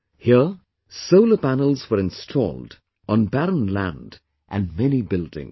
Here solar panels were installed on barren land and many buildings